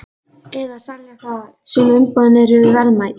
Eða selja það, sum umboðin eru verðmæt.